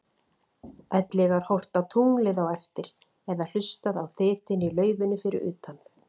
Ellegar horft á tunglið á eftir eða hlustað á þytinn í laufinu fyrir utan?